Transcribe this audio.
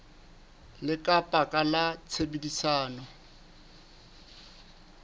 le ka baka la tshebedisano